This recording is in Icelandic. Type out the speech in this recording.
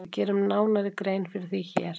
Við gerum nánari grein fyrir því hér.